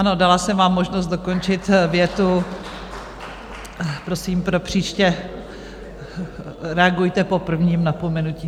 Ano, dala jsem vám možnost dokončit větu, prosím pro příště reagujte po prvním napomenutí.